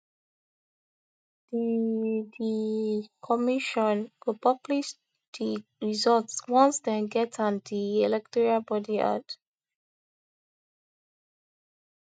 di di commission go publish di result once dem get am di electoral body add